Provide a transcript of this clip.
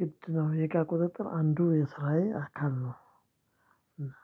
ግድ ነው የእቃ ቁጥጥር አንዱ የስራዬ አካል ነው። እና